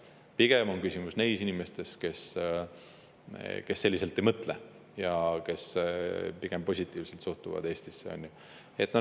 Pigem on küsimus neis inimestes, kes selliselt ei mõtle ja suhtuvad Eestisse pigem positiivselt.